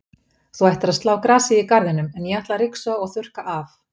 Þú ættir að slá grasið í garðinum, en ég ætla að ryksuga og þurrka af.